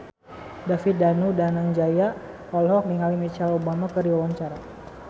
David Danu Danangjaya olohok ningali Michelle Obama keur diwawancara